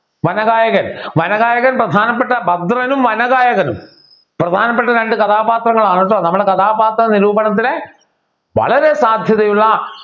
വനഗായകൻ വനഗായകൻ പ്രധാനപ്പെട്ട ഭദ്രനും വനഗായകനും പ്രധാനപ്പെട്ട രണ്ട് കഥാപാത്രങ്ങളാണ് ട്ടോ നമ്മുടെ കഥാപാത്ര നിരൂപണത്തിലെ വളരെ സാധ്യതയുള്ള